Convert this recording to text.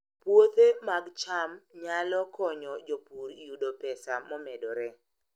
Puothe mag cham nyalo konyo jopur yudo pesa momedore